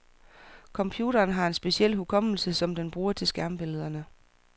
Computeren har en speciel hukommelse, som den bruger til skærmbillederne.